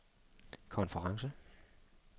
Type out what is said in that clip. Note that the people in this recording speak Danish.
konference